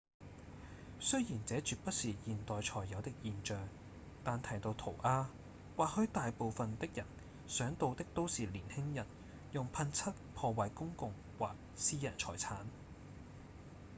雖然這絕不是現代才有的現象但提到塗鴉或許大部分的人想到的都是年輕人用噴漆破壞公共或私人財產